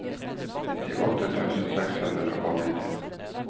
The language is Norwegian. nittiåtte tusen seks hundre og nitti